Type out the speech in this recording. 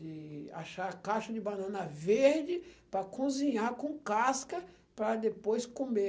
de achar caixa de banana verde para cozinhar com casca para depois comer.